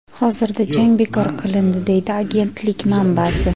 hozirda jang bekor qilindi deydi agentlik manbasi.